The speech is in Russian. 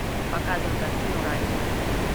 показывай картину рай вера